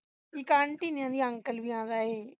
ਇਕ aunty ਨਹੀਂ ਆਉਂਦੀ uncle ਵੀ ਆਉਂਦਾ ਏਹੇ